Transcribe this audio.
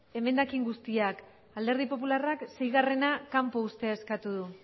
emendakin guztiak alderdi popularrak seigarrena kanpo uztea eskatu du